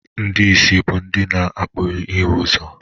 Ndị ìsì bụ ndị na-apụghị ịhụ ụzọ.